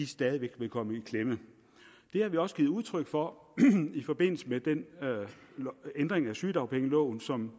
stadig væk vil komme i klemme det har vi også givet udtryk for i forbindelse med den ændring af sygedagpengeloven som